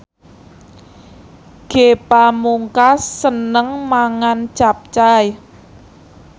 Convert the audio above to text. Ge Pamungkas seneng mangan capcay